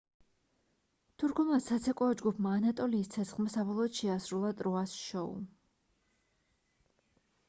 თურქულმა საცეკვაო ჯგუფმა ანატოლიის ცეცხლმა საბოლოოდ შეასრულა ტროას შოუ